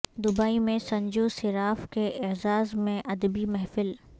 Dubai میں سنجو صراف کے اعزاز میں ادبی محفل